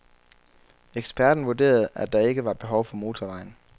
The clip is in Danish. Eksperten vurderede, at der ikke var behov for motorvejen.